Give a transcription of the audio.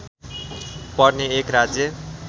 पर्ने एक राज्य